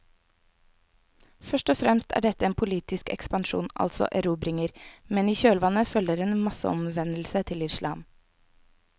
Først og fremst er dette en politisk ekspansjon, altså erobringer, men i kjølvannet følger en masseomvendelse til islam.